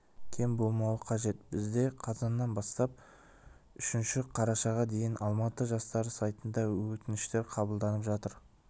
кем болмауы қажет бізде қазаннан бастап үшінші қарашаға дейін алматы жастары сайтында өтініштер қабылданып жатыр